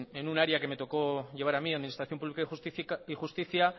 en un área que me tocó llevar a mí administración pública y justicia